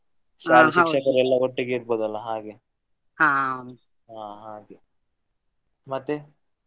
ಶಾಲಾ ಶಿಕ್ಷಕರೆಲ್ಲ ಒಟ್ಟಿಗೆ ಇರ್ಬೋದಲ್ಲ ಹಾಗೆ ಹ ಹಾಗೆ ಮತ್ತೆ?